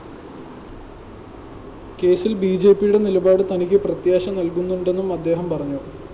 കേസില്‍ ബിജെപിയുടെ നിലപാട് തനിക്ക് പ്രത്യാശ നല്‍കുന്നുണ്ടെന്നും അദ്ദേഹം പറഞ്ഞു